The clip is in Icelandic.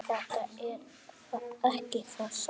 Þetta er ekki það sama.